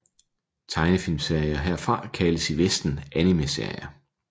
Tegnefilmserier herfra kaldes i vesten animeserier